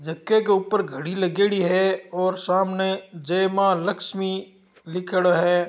के ऊपर घडी लगी हुयी है और सामने जय माँ लक्ष्मी लिखेड़ो है।